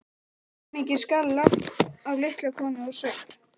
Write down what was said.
Hversu mikið skal lagt á litla konu úr sveit?